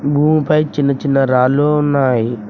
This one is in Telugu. భూమిపై చిన్న చిన్న రాళ్ళు ఉన్నాయ్.